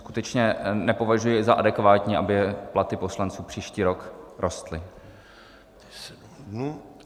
Skutečně nepovažuji za adekvátní, aby platy poslanců příští rok rostly.